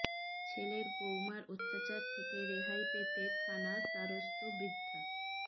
ছেলে বউমার অত্যাচারের থেকে রেহাই পেতে থানার দ্বারস্থ বৃদ্ধা